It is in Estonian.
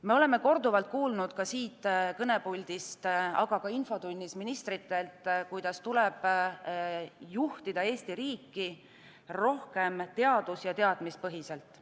Me oleme korduvalt kuulnud siit kõnepuldist, aga ka infotunnis ministritelt, kuidas Eesti riiki tuleb juhtida rohkem teadus- ja teadmispõhiselt.